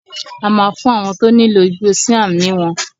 A máa fún àwọn tó nílò igbó síám ní wọn